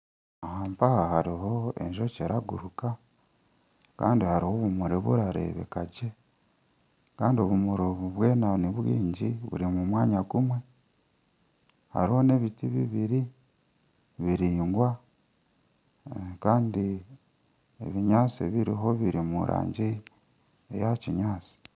Aha mpaha hariho enjoki erikuguraka kandi hariho obumuri burikureebeka gye kandi obumuri obu bwona nibwingi buri omu mwanya gumwe hariho n'ebiti bibiri biraingwa kandi ebinyaatsi ebiriho biri omu rangi eya kinyaatsi